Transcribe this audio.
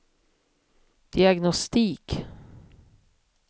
diagnostik